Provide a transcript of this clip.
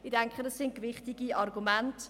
Ich denke, dies sind gewichtige Argumente.